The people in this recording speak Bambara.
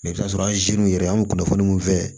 i bi t'a sɔrɔ anziniw yɛrɛ an kunnafoni minnu fɛ